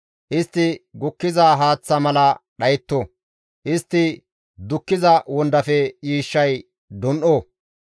Istti gukkiza haaththa mala dhayetto; istti dukkiza wondafe yiishshay dun7o.